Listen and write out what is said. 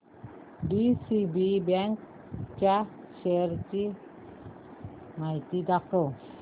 DCB bank च्या shares ची माहिती दाखव